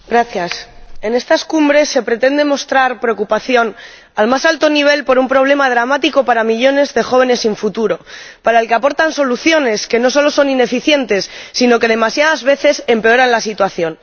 Señora Presidenta, en estas cumbres se pretende mostrar preocupación al más alto nivel por un problema dramático para millones de jóvenes sin futuro, para el que aportan soluciones que no solo son ineficientes sino que demasiadas veces empeoran la situación.